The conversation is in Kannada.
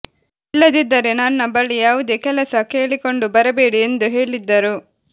ಇಲ್ಲದಿದ್ದರೆ ನನ್ನ ಬಳಿ ಯಾವುದೇ ಕೆಲಸ ಕೇಳಿಕೊಂಡು ಬರಬೇಡಿ ಎಂದು ಹೇಳಿದ್ದರು